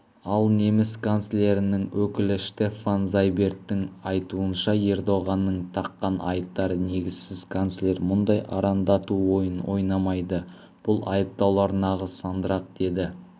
ал неміс канцлерінің өкілі штеффан зайберттің айтуынша ердоғанның таққан айыптары негізсіз канцлер мұндай арандату ойынын ойнамайды бұл айыптаулар нағыз сандырақ деді